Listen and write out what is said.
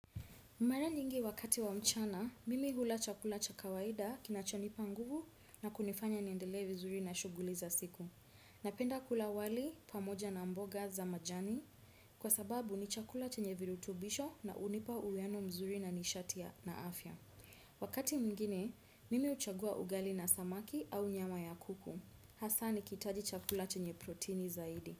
Mara nyingi wakati wa mchana, mimi hula chakula cha kawaida kinachonipa nguvu na kunifanya niendelee v zuri na shughuli za siku. Napenda kula wali pamoja na mboga za majani kwa sababu ni chakula chenye virutubisho na hunipa uweano mzuri na nishatia na afya. Wakati mwingine, mimi huchagua ugali na samaki au nyama ya kuku. Hasa nikihitaji chakula chenye protini zaidi.